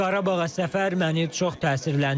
Qarabağa səfər məni çox təsirləndirdi.